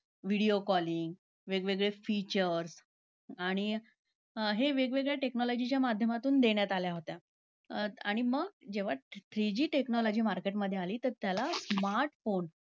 Video calling, वेगवेगळे features. आणि हे वेगवेगळ्या technology च्या माध्यमातून देण्यात आल्या होत्या. अं~ आणि मग जेव्हा three G technology market मध्ये आली तर त्याला smartphone